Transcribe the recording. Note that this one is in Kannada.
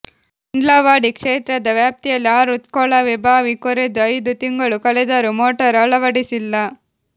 ಇಂಡ್ಲವಾಡಿ ಕ್ಷೇತ್ರದ ವ್ಯಾಪ್ತಿಯಲ್ಲಿ ಆರು ಕೊಳವೆ ಬಾವಿ ಕೊರೆದು ಐದು ತಿಂಗಳು ಕಳೆದರೂ ಮೋಟಾರ್ ಅಳವಡಿಸಿಲ್ಲ